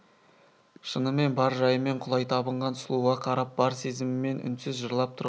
шынымен бар жайымен құлай табынған сұлуға қарап бар сезіммен үнсіз жырлап тұрған тәрізді